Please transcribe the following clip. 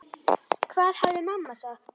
Hvað hefði mamma sagt?